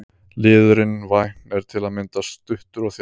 Liðurinn- vænn er til að mynda stuttur og þjáll.